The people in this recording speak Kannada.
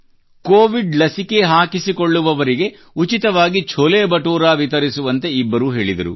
ಕೋವಿಡ್ ಲಸಿಕೆ ಹಾಕಿಸಿಕೊಳ್ಳುವವರಿಗೆ ಉಚಿತವಾಗಿ ಛೋಲೆ ಬಟುರಾ ವಿತರಿಸುವಂತೆ ಇಬ್ಬರೂ ಹೇಳಿದರು